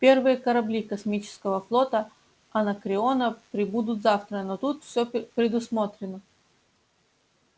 первые корабли космического флота анакреона прибудут завтра но тут всё предусмотрено